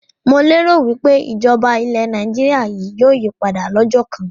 Mo lé ro wípé ìjọba ilẹ̀ Nàìjíríà yìí ó yí padà lọ́jọ́ kán